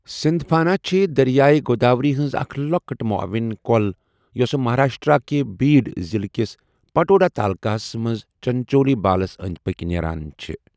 سِنٛدپھانہ چھے دٔریایہِ گوداؤری ہنز اَکھ لۄکٕٹ معاوِن کۄل یۄسہٕ مہاراشٹرا کہِ بیٖڈ ضِلعہٕ کِس پٹودا تالُكاہس منٛز چِنچولی بالس أنٛدۍ پٔکۍ نیران چھےٚ۔